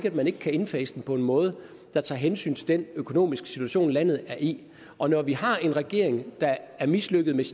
at man ikke kan indfase den på en måde der tager hensyn til den økonomiske situation landet er i og når vi har en regering der er mislykkedes